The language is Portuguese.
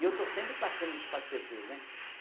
E eu estou sempre passando isso para as pessoas, né?